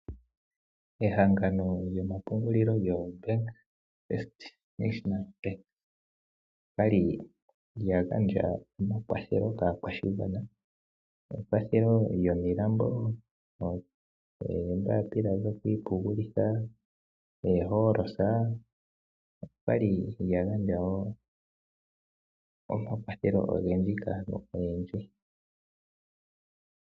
Ehangano lyomapungulilo lyombaanga yotango yopashigwana okwali lyagandja omakwathelo kaakwashigwana ngaashi ekwathelo lyominambo, oombapila dhokwiipushulitha, oolosa okwali lyagandja wo omakwathelo ogendji kaantu oyendji.